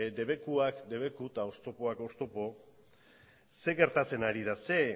debekuak debeku eta oztopoak oztopo ze gertatzen ari da